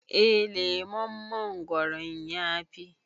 eh lemon mongoron ya Fi